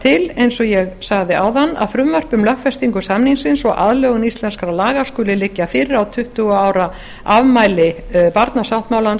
til að frumvarp um lögfestingu samningsins og aðlögun íslenskra laga að honum skuli liggja fyrir á tuttugu ára afmæli barnasáttmálans